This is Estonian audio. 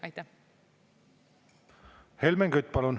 Helmen Kütt, palun!